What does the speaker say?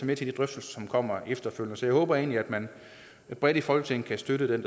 med til de drøftelser som kommer efterfølgende så jeg håber egentlig at man bredt i folketinget kan støtte det